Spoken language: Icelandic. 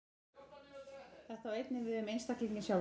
Þetta á einnig við um einstaklinginn sjálfan.